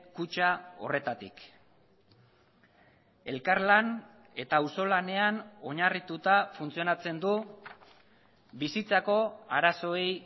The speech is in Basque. kutxa horretatik elkarlan eta auzolanean oinarrituta funtzionatzen du bizitzako arazoei